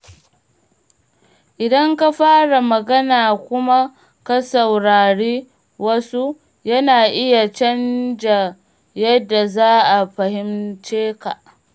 Idan ka fara magana kuma ka saurari wasu, yana iya canza yadda za a fahimce ka.